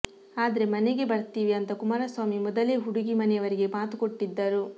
ಆದ್ರೆ ಮನೆಗೆ ಬರ್ತಿವಿ ಅಂತ ಕುಮಾರಸ್ವಾಮಿ ಮೊದಲೇ ಹುಡುಗಿ ಮನೆಯವರಿಗೆ ಮಾತು ಕೊಟ್ಟಿದ್ದರು